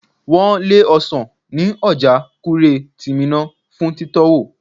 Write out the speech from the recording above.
Wọn lé ọsan ní ọjà Kure ti Minna fún titowo.